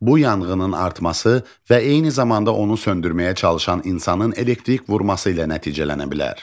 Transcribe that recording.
Bu yanğının artması və eyni zamanda onu söndürməyə çalışan insanın elektrik vurması ilə nəticələnə bilər.